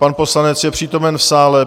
Pan poslanec je přítomen v sále.